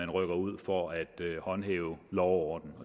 rykker ud for at håndhæve lov og orden